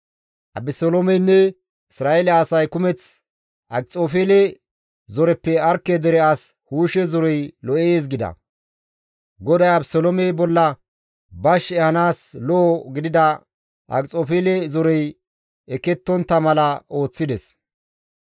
Abeseloomeynne Isra7eele asay kumeth, «Akxofeele zoreppe Arkke dere as Hushe zorey lo7ees» gida; GODAY Abeseloome bolla bash ehanaas lo7o gidida Akxofeele zorey ekettontta mala ooththides.